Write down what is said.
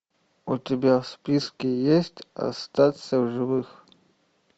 у тебя в списке есть остаться в живых